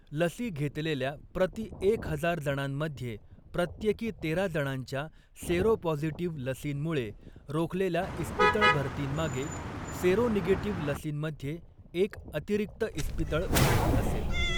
लसी घेतलेल्या प्रति एक हजार जणांमध्ये, प्रत्येकी तेरा जणांच्या सेरोपॉझिटिव्ह लसींमुळे रोखलेल्या इस्पितळ भरतींमागे, सेरोनेगेटिव्ह लसींमध्ये एक अतिरिक्त इस्पितळ भरती असेल.